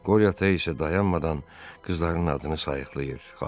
Qoryo ata isə dayanmadan qızlarının adını sayıqlayır.